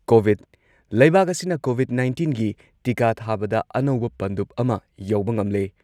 COVID ꯂꯩꯕꯥꯛ ꯑꯁꯤꯅ Covid ꯅꯥꯏꯟꯇꯤꯟꯒꯤ ꯇꯤꯀꯥ ꯊꯥꯕꯗ ꯑꯅꯧꯕ ꯄꯟꯗꯨꯞ ꯑꯃ ꯌꯧꯕ ꯉꯝꯂꯦ꯫